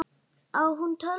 Á hún tölvu?